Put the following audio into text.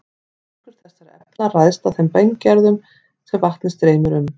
Styrkur þessara efna ræðst af þeim berggerðum sem vatnið streymir um.